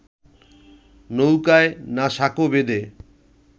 নৌকায়, না সাঁকো বেঁধে